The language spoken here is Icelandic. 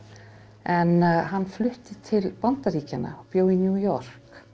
en hann flutti til Bandaríkjanna og bjó í New York